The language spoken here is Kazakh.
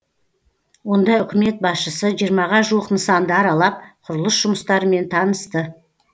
онда үкімет басшысы жиырмаға жуық нысанды аралап құрылыс жұмыстарымен танысты